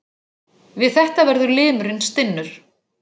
Við þetta verður limurinn stinnur.